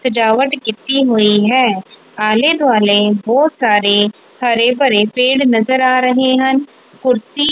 ਸਜਾਵਟ ਕੀਤੀ ਹੋਈ ਹੈ ਆਲੇ ਦੁਆਲੇ ਬਹੁਤ ਸਾਰੇ ਹਰੇ ਭਰੇ ਪੇੜ ਨਜ਼ਰ ਆ ਰਹੇ ਹਨ ਕੁਰਸੀ--